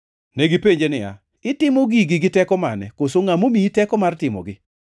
Negipenje niya, “Itimo gigi gi teko mane, koso ngʼa momiyi teko mar timogi?”